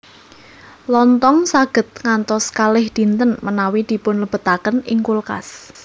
Lontong saged ngantos kalih dinten menawi dipunlebetaken ing kulkas